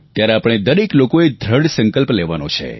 ત્યારે આપણે દરેક લોકોએ દ્રઢ સંકલ્પ લેવાનો છે